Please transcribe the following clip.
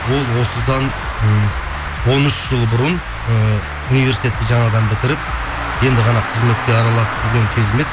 ол осыдан ммм он үш жыл бұрын ыыы университетті жаңадан бітіріп енді ғана қызметке араласып жүрген кезім еді